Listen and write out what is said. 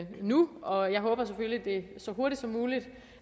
nu og jeg håber selvfølgelig at det så hurtigt som muligt